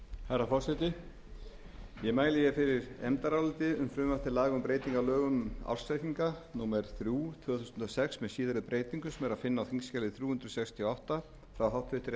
um ársreikninga númer þrjú tvö þúsund og sex með síðari breytingum sem er að finna á þingskjali þrjú hundruð sextíu og átta frá háttvirtri efnahags og